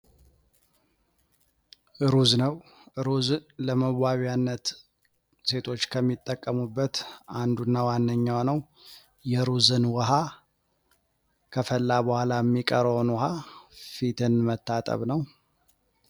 ሩዝ ነው ፤ ሩዝ ለመዋቢያነት ሴቶች ከሚጠቀሙበት አንዱና ዋነኛው ነው። የሩዝን ውሀ ከፈላ በኃላ የሚቀረውን ውሀ ፊትን መታጠብ ነው።